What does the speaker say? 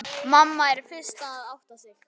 Mamma er fyrst að átta sig: